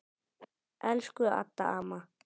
Elsku Adda, mamma.